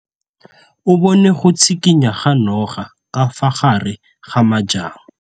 O bone go tshikinya ga noga ka fa gare ga majang.